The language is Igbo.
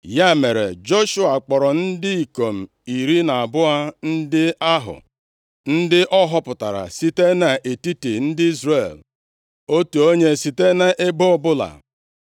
Ya mere, Joshua kpọrọ ndị ikom iri na abụọ ndị ahụ, ndị ọ họpụtara, site nʼetiti ndị Izrel, otu onye site nʼebo ọbụla,